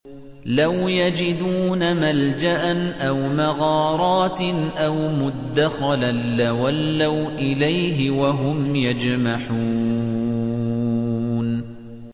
لَوْ يَجِدُونَ مَلْجَأً أَوْ مَغَارَاتٍ أَوْ مُدَّخَلًا لَّوَلَّوْا إِلَيْهِ وَهُمْ يَجْمَحُونَ